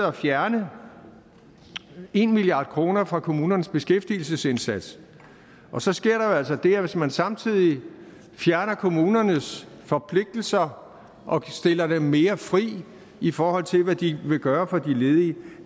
at fjerne en milliard kroner fra kommunernes beskæftigelsesindsats så sker altså det at hvis man samtidig fjerner kommunernes forpligtelser og stiller dem mere fri i forhold til hvad de vil gøre for de ledige